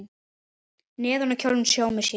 Neðan á kjólnum sómir sér.